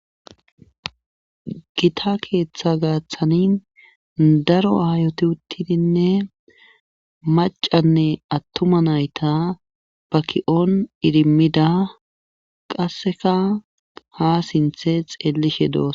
Gita keetha gaathani daro aayiti uttidinne maccanne attuma nayta ba ki7on idimmida qasseka haa sinthe xeellishe doos.